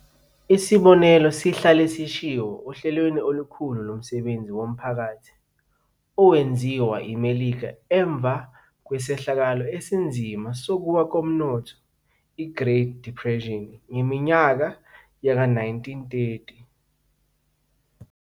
Isibonelo sihlale sishiwo ohlelweni olukhulu lomsebenzi womphakathi owenziwa iMelika emva kwesehlakalo esinzima sokuwa komnotho i-Great Depression ngeminyaka ye-1930.